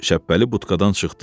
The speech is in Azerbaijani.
Şəbbəli butqadan çıxdı.